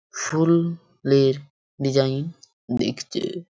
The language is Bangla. ফুল এর ডিসাইন দেখতে।